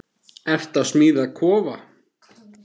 Ertu að smíða kofa?